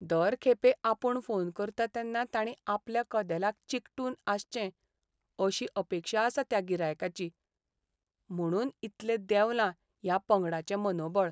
दर खेपे आपूण फोन करतां तेन्ना ताणीं आपल्या कदेलाक चिकटून आसचें अशी अपेक्षा आसा त्या गिरायकाची. म्हुणून इतलें देवलां ह्या पंगडाचें मनोबळ.